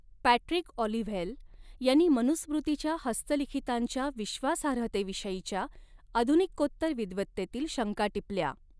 Patrick Olivelle यांनी मनुस्मृतीच्या हस्तलिखितांच्या विश्वासार्हतेविषयीच्या आधुनिकोत्तर विद्वत्तेतील शंका टिपल्या.